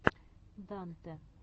дантэ